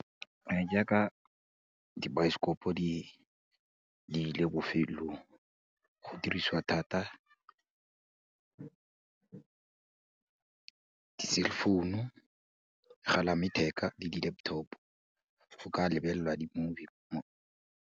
jaaka dibaesekopo di ile bofellong, go dirisiwa thata di-cell founu, megalayaletheka le di-laptop-o go ka lebelelwa di-movie.